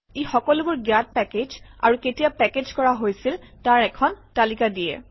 ই সকলোবোৰ জ্ঞাত পেকেজ আৰু কেতিয়া পেকেজ কৰা হৈছিল তাৰ এখন তালিকা দিয়ে